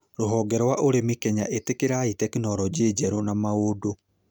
Rũhonge rwa ũrĩmi wa Kenya ĩtĩkĩra teknoronjĩ njerũĩ na maũdũ